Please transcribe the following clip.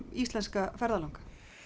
íslenska ferðalanga